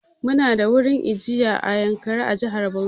Mu na da wurin ajiya na Yankari a jihar Bauchi.